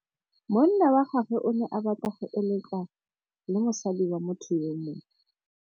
Monna wa gagwe o ne a batla go êlêtsa le mosadi wa motho yo mongwe.